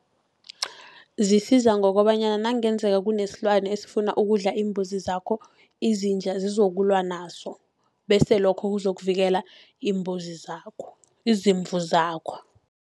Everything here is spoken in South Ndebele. Zisiza ngokobanyana nakungenzeka kunesilwana esifuna ukudla iimbuzi zakho, izinja zizokulwa naso. Bese lokho kuzokuvikela iimbuzi zakho, izimvu zakho.